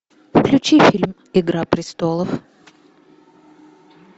включи фильм игра престолов